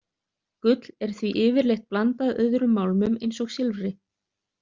Gull er því yfirleitt blandað öðrum málmum eins og silfri.